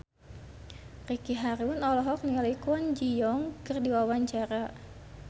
Ricky Harun olohok ningali Kwon Ji Yong keur diwawancara